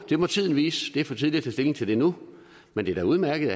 det må tiden vise det er for tidligt at tage stilling til det nu men det er da udmærket